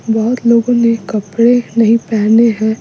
बहुत लोगों ने कपड़े नहीं पहने हैं --